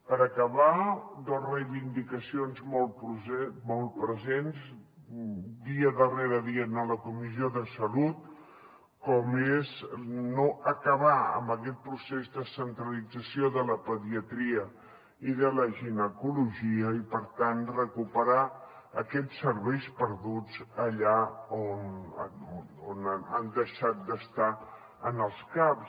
per acabar dos reivindicacions molt presents dia darrere dia en la comissió de salut com és acabar amb aquest procés de centralització de la pediatria i de la ginecologia i per tant recuperar aquests serveis perduts allà on han deixat d’estar en els caps